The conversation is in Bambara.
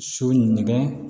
So nɛgɛ